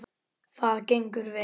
Það gengur vel.